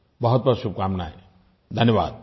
बहुतबहुत शुभकामनाएं धन्यवाद